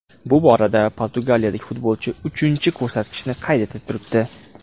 Bu borada portugaliyalik futbolchi uchinchi ko‘rsatkichni qayd etib turibdi.